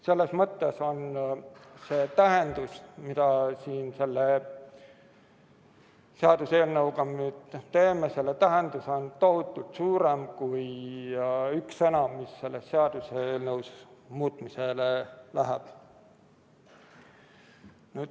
Selles mõttes on selle tähendus, mida siin selle seaduseelnõuga nüüd teeme, selle tähendus on tohutult palju suurem kui üks sõna, mis selles seaduseelnõus muutmisele läheb.